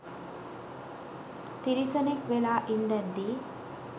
තිරිසනෙක් වෙලා ඉන්දැද්දි